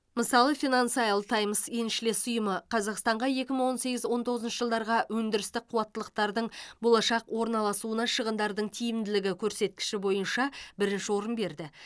мысалы финансайл таймс еншілес ұйымы қазақстанға екі мың он сегіз он тоғызыншы жылдарға өндірістік қуаттылықтардың болашақ орналасуына шығындардың тиімділігі көрсеткіші бойынша бірінші орын берді